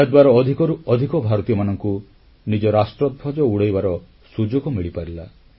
ଏହାଦ୍ୱାରା ଅଧିକରୁ ଅଧିକ ଭାରତୀୟମାନଙ୍କୁ ନିଜ ରାଷ୍ଟ୍ରଧ୍ୱଜ ଉଡ଼ାଇବାର ସୁଯୋଗ ମିଳିପାରିଲା